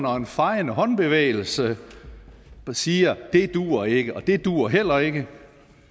og en fejende håndbevægelse siger dét duer ikke og dét duer heller ikke